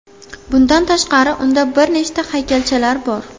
Bundan tashqari, unda bir nechta haykalchalar bor.